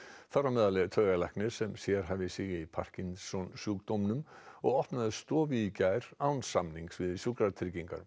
þar á meðal er taugalæknir sem sérhæfir sig í parkinsonsjúkdómum og opnaði stofu í gær án samnings við Sjúkratryggingar